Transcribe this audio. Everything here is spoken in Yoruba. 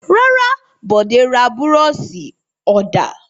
Rárá, Bọ̀dé ra búrọ́ṣì-ọ̀dà.